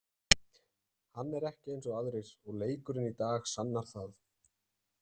Hann er ekki eins og aðrir og leikurinn í dag sannar það.